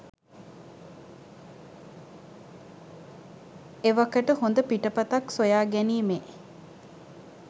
එවකට හොඳ පිටපතක් සොයා ගැනීමෙ